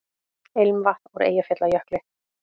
Ilmvatn úr Eyjafjallajökli